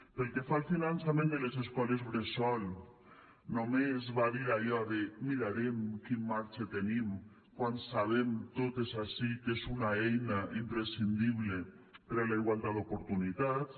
pel que fa al finançament de les escoles bressol només va dir allò de mirarem quin marge tenim quan sabem totes ací que és una eina imprescindible per a la igualtat d’oportunitats